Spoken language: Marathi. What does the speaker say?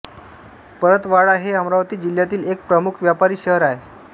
परतवाडा हे अमरावती जिल्हातील एक प्रमुख व्यापारी शहर आहे